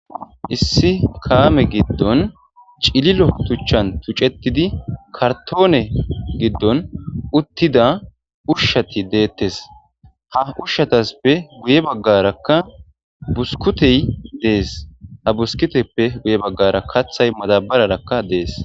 Issi kaame giddon cililo tuchchan tuccetidi kartoone giddon uttida ushshati deettes ha ushshatasppe guye baggarakka buskutey dees ha buskiteppe guye baggara kathay matabararakka dees